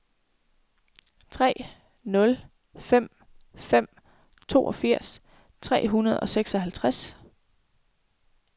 tre nul fem fem toogfirs tre hundrede og seksoghalvtreds